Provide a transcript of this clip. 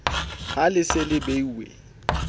ha le se le beuwe